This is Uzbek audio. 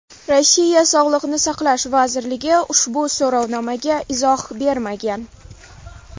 Rossiya Sog‘liqni saqlash vazirligi ushbu so‘rovnomaga izoh bermagan.